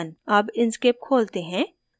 अब inkscape खोलते हैं